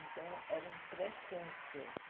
Então, era um pré-câncer.